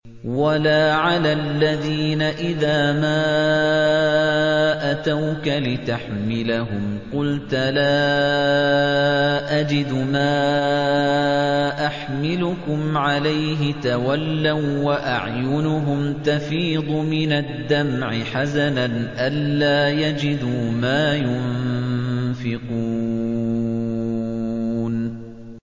وَلَا عَلَى الَّذِينَ إِذَا مَا أَتَوْكَ لِتَحْمِلَهُمْ قُلْتَ لَا أَجِدُ مَا أَحْمِلُكُمْ عَلَيْهِ تَوَلَّوا وَّأَعْيُنُهُمْ تَفِيضُ مِنَ الدَّمْعِ حَزَنًا أَلَّا يَجِدُوا مَا يُنفِقُونَ